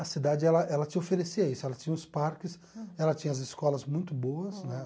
A cidade, ela ela te oferecia isso, ela tinha os parques, ela tinha as escolas muito boas, né?